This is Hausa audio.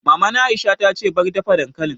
Maman Aisha ta ce 'Bar dafa dankalin'!